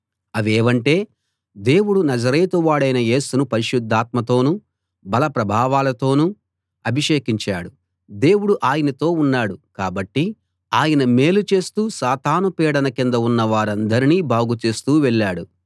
అవేవంటే దేవుడు నజరేతువాడైన యేసును పరిశుద్ధాత్మతోనూ బలప్రభావాలతోనూ అభిషేకించాడు దేవుడు ఆయనతో ఉన్నాడు కాబట్టి ఆయన మేలు చేస్తూ సాతాను పీడన కింద ఉన్న వారందరినీ బాగుచేస్తూ వెళ్ళాడు